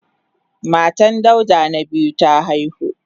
Matan Dauda na biyu ta haihu.